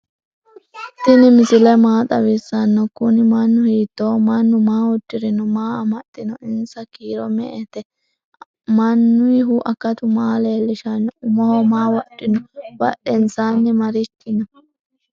tini misile maa xawisano? kuuni manu hitoho? manu maa udirinno? maa amaxino? insa kiiro me"ete ?manuyihu akkatu maa leelishano? umoho maa wodhino ?badhensani marichi no?